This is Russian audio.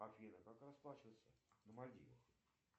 афина как расплачиваться на мальдивах